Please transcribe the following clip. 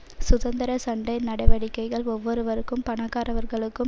சுதந்திர சண்டை நடவடிக்கைகள் ஒவ்வொருவரும் பணக்காரவர்களுக்கும்